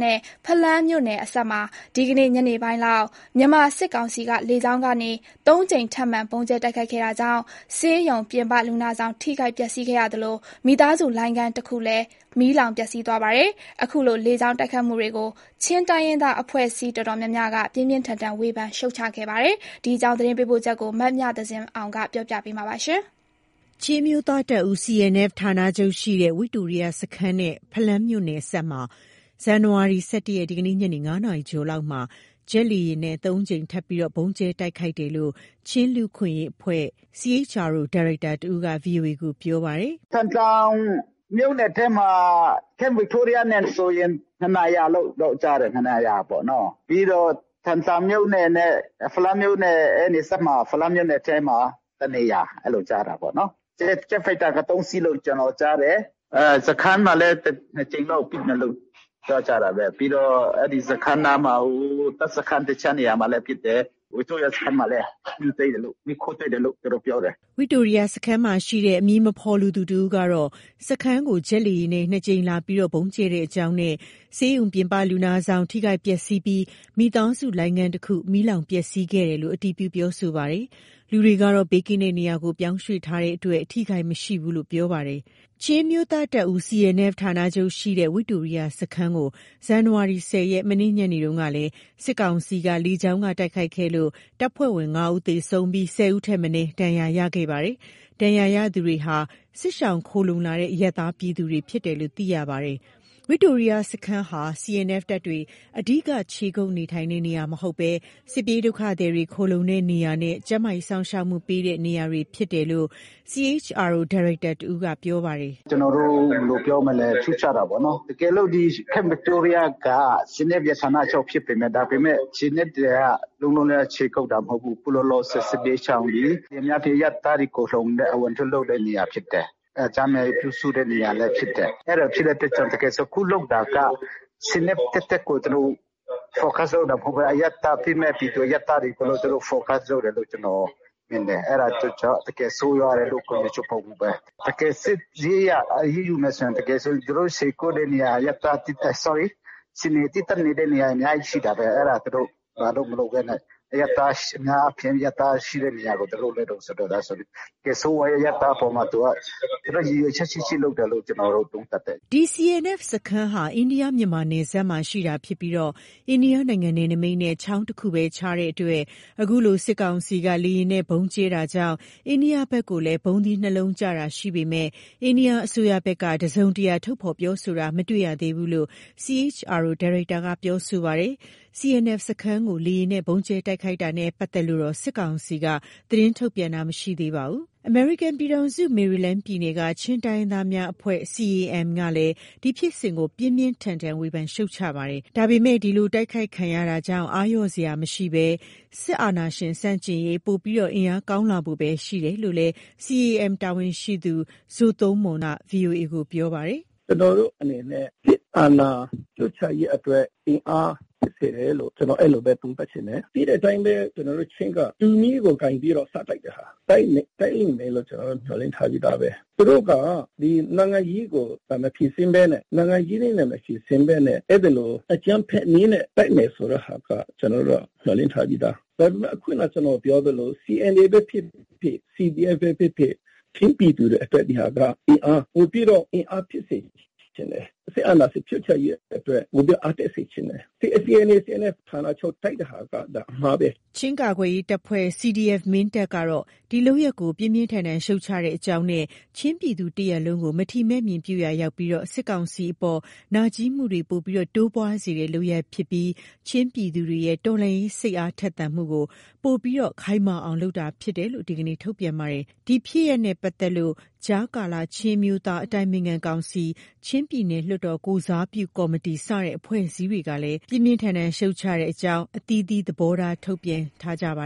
နဲ့ ဖလမ်းမြို့နယ်အစပ်မှာ ဒီနေ့ ညနေပိုင်းလောက် မြန်မာစစ်ကောင်စီက လေကြောင်းကနေ ၃ကြိမ် ထပ်မံ ဗုံးကြဲတိုက်ခိုက်ခဲ့တာကြောင့်၊ ဆေးရုံ ပြင်ပလူနာဆောင် ထိခိုက်ပျက်စီးသလို မိသားစုလိုင်းခန်းတစ်ခု မီးလောင်ပျက်စီးသွားပါတယ်။ အခုလို လေကြောင်းတိုက်ခိုက်မှုတွေကို ချင်းတိုင်းရင်းသား အဖွဲ့အစည်းအတော်များများက ပြင်းပြင်းထန်ထန်ဝေဖန်ရှုတ်ချခဲ့ပါတယ်။ ဒီအကြောင်း သတင်းပေးပို့ချက်ကို မမြသဇင်အောင်က ပြောပြပါမယ်။ ချင်းအမျိုးသားတပ်ဦး ဌာနချုပ်ရှိရာ ဝိတိုရိယစခန်းနဲ့ ဖလမ်းမြို့နယ်အစပ်မှာ ဇန်နဝါရီလ ၁၁ရက် ဒီနေ့ညနေ ၅နာရီကျော်လောက်မှာ ဂျက်လေယာဉ်နဲ့ ၃ကြိမ်ထပ်မံ ဗုံးကြဲတိုက်ခိုက်တယ်လို့ ချင်းလူ့အခွင့်အရေးအဖွ့ဲ ဒါရိုက်တာတဦးက ဗွီအိုအေကို ပြောပါတယ်။ “ထန်တလန်မြို့နယ်ထဲမှာ Camp Victoria ဆိုရင် နှစ်နေရာလို့ ကြားတယ်။ နှစ်နေရာပေ့ါနော်။ ပြီးတော့ ထန်တလန်မြို့နယ်နဲ့ ဖလမ်းမြို့နယ် အဲ့နယ်စပ်မှာ ဖလမ်းမြို့နယ်မထဲမှာ တစ်နေရာ အဲ့လိုကြားတာပေါ့နော်။ ဂျက်ဖိုက်တာက ၃စီးလို့ ကျနော်ကြားတယ်။ စခန်းမှာလည်း ၂ကြိမ်လောက်ပစ်တယ်လို့ ပြောကြတာပဲ ပြီးတော့ အဲ့ဒီစခန်းနားမှာကို ဟိုတပ်စခန်းတစ်နေရာမှာလည်း ပစ်တယ် Victoria စခန်းမှာလည်း မီးခိုးတွေ့တယ်လို့ သူတို့ ပြောတယ်။” ဝိတိုရိယစခန်းမှာရှိတဲ့ အမည်မဖော်လိုသူတဦးကတော့ စခန်းကို ဂျက်လေယာဉ်နဲ့ ၂ကြိမ်လာရောက် ဗုံးကြဲကြောင်းနဲ့ ဆေးရုံ ပြင်ပလူနာဆောင် ထိခိုက်ပျက်စီးပြီး မိသားစုလိုင်းခန်းတစ်ခု မီးလောင်ပျက်စီးသွားတယ်လို့ အတည်ပြုပြောဆိုပါတယ်။ လူတွေကတော့ ဘေးကင်းတဲ့နေရာကို ပြောင်းရွှေ့ထားကြလို့ အထိအခိုက်မရှိဘူးလို့ ပြောပါတယ်။ ချင်းအမျိုးသားတပ်ဦး ဌာနချုပ်ရှိရာ ဝိတိုရိယစခန်းကို ဇန်နဝါရီလ ၁၀ ရက် မနေ့ညနေကလည်း စစ်ကောင်စီက လေကြောင်းကနေ တိုက်ခိုက်ခဲ့လို့ တပ်ဖွဲ့ဝင် ၅ ဦး သေဆုံးပြီး ၁၀ ဦးထက်မနည်း ဒဏ်ရာရရှိပါတယ်။ ဒဏ်ရာရသူတွေဟာ စစ်ရှောင်ခုံလှုံလာတဲ့ အရပ်သားပြည်သူတွေဖြစ်တယ်လို့ သိရပါတယ်။ ဝိတိုရိယစခန်းဟာ CNF တပ်တွေ အဓိက ခြေကုတ်နေထိုင်တဲ့နေရာ မဟုတ်ဘဲ စစ်ပြေးဒုက္ခသည်တွေ ခိုလှုံတဲ့နေရာနဲ့ ကျန်းမာရေးစောင့်ရှောက်မှုပေးတဲ့ နေရာတွေဖြစ်တယ်လို့ ဒါရိုက်တာတဦးက ပြောပါတယ်။ “ကျနော်တို့ ဘယ်လိုပြောမလဲ ရှုတ်ချတာပေါ့နော်။ တကယ်လို့ ဒီ Camp Victoria က CNF ဌာနချုပ်ဖြစ်ပေမယ့် CNF တွေက လုံးလုံးခြေကုတ်တာမဟုတ်ဘူး ခုလောလောဆယ်ဆယ် စစ်ပြေးရှောင်တွေ အများအားဖြင့် အရပ်သားတွေ ခိုလှုံတဲ့ အဝင်အထွက်လုပ်တဲ့ နေရာဖြစ်တယ်။ ကျန်းမာရေးပြုစုတဲ့နေရာလည်းဖြစ်တယ်။ အဲ့ဒါဖြစ်တဲ့အတွက်ကြောင့် တကယ်ဆို အခုလုပ်တာက CNF သက်သက်ကို သူတို့ Focus လုပ်တာမဟုတ်ဘဲ အရပ်သားအပြစ်မဲ့ပြည်သူတွေကို သူတို့ Focus လုပ်တယ်လို့ မြင်တယ်။ အဲ့ဒါကြောင့် တကယ်ဆိုးရွားတယ်လို့ ပြောချင်တယ်။ တကယ်စစ်ရေးအရ အရေးယူမယ်ဆိုရင် တကယ်ဆိုရင် သူတို့ခြေကုပ်တဲ့နေရာ CNF သီးသန့်နေတဲ့နေရာ အများကြီးရှိတာပဲ အဲ့ဒါ သူတို့ဘာလို့မလုပ်ပဲနဲ့ အများအားဖြင့် အရပ်သားရှိတဲ့နေရာကို သူတို Focus လုပ်တယ်ဆိုရင် တကယ်ဆိုးဝါးတဲ့အရပ်သားအပေါ်မှာ သူတို့ ရည်ရွယ်ချက်ရှိရှိလုပ်တယ်လို့ ကျနော်တို့သုံးသပ်တယ်။” ဒီ CNF စခန်းဟာ အိန္ဒိယ-မြန်မာနယ်စပ်မှာ တည်ရှိတာဖြစ်ပြီး အိန္ဒိယနိုင်ငံ နယ်နိမိတ်နဲ့ ချောင်းတခုသာခြားတဲ့အတွက် အခုလို စစ်ကောင်စီက လေယာဉ်နဲ့ ဗုံးကြဲတာကြောင့် အိန္ဒိယဘက်ကိုလည်း ဗုံးသီး နှစ်လုံးကျတာရှိပေမယ့် အိန္ဒိယအစိုးရဖက်က တစုံတရာထုတ်ဖော် ပြောဆိုတာမျိုး မတွေ့ရသေးဘူးလို့ ဒါရိုက်တာက ပြောဆိုပါတယ်။ CNF စခန်းကို လေယာဉ်နဲ့ ဗုံးကြဲ တိုက်ခိုက်တာနဲ့ ပတ်သက်လို့တော့ စစ်ကောင်စီက သတင်းထုတ်ပြန်တာ မရှိသေးပါဘူး။ အမေရိကန်ပြည်ထောင်စု မယ်ရီလန်းပြည်နယ်က ချင်းတိုင်းရင်းသားများအဖွဲ့ CAM ကလည်း ဒီဖြစ်စဉ်ကို ပြင်းပြင်းထန်ထန် ဝေဖန်ရှုတ်ချပါတယ်။ ဒါပေမယ့် ဒီလို တိုက်ခိုက်ခံရမှုကြောင့် အားလျှော့စရာမရှိပဲ၊ စစ်အာဏာရှင်ဆန့်ကျင်ရေးအတွက် ပိုပြီး အင်အားကောင်းလာဖို့ပဲရှိတယ်လို့လည်း CAM တာဝန်ရှိသူ ဇိုသုန်းမှုန်က VOA ကို ပြောပါတယ်။ “ကျနော်တို့အနေနဲ့ စစ်အာဏာရှုတ်ချရေးအတွက် အင်အားဖြစ်စေတယ်လို့ ကျနော် အဲ့လိုပဲ သုံးသပ်ချင်တယ်။ သိတဲ့အတိုင်းပဲ ကျနော်တို့ ချင်းက တူးမီးကို ကိုင်ပြီး စတိုက်တဲ့ဟာ တိုက်လိမ်မယ့်လို့ ကျနော်တို့ မျှော်လင့်ပြီးသားပဲ။ သူတို့က ဒီနိုင်ငံရေးကို နိုင်ငံရေးနဲ့ မဖြေရှင်းပဲနဲ့ အဲ့ဒီလို အကြမ်းဖက်နည်းနဲ့ တိုက်မယ်ဆိုတဲ့ဟာက ကျနော်တို့က မျှော်လင့်ထားပြီးသား ဒါပေမယ့် ခုနကျနော်ပြောသလို CNF ဖြစ်ဖြစ် CDF ပဲ ဖြစ်ဖြစ် ချင်းပြည်သူတွေအတွက် ဒီဟာက အင်အားပိုပြီးတော့ အင်အားဖြစ်စေချင်တယ်။ စစ်အာဏာရှင်ဖြုတ်ချရေးအတွက် အားတက်စေချင်တယ်။ ဒီ CNA/CNF ဌာနချုပ်တိုက်တဲ့ဟာက ဒါအမှားပဲ။” ချင်းကာကွယ်ရေးအဖွဲ့ ကတော့ ဒီလုပ်ရပ်ကို ပြင်းထန်စွာ ရှုတ်ချကြောင်းနဲ့ ချင်းပြည်သူတစ်ရပ်လုံးကို မထီမဲ့မြင်ပြုရာရောက်ပြီး စစ်ကောင်စီ အပေါ် နာကြည်းမှုများ တိုးပွားစေတဲ့ လုပ်ရပ်ဖြစ်ပြီး ချင်းပြည်သူတွေရဲ့ တော်လှန်ရေး စိတ်အားထက်သန်မှုကို ပိုမိုခိုင်မာအောင် လုပ်ခြင်းဖြစ်တယ်လို့ ဒီနေ့ ထုတ်ပြန်ပါတယ်။ ဒီလုပ်ရပ်နဲ့ ဖြစ်ပတ်သက်လို့ ကြားကာလ ချင်းအမျိုးသား အတိုင်ပင်ခံကောင်စီ၊ ချင်းပြည်နယ် လွှတ်တော်ကိုယ်စားပြု ကော်မတီ စတဲ့အဖွဲ့အစည်းတွေကလည်း ပြင်းထန်စွာ ရှုတ်ချကြောင်း အသီးသီး သဘောထားထုတ်ပြန်ထားကြပ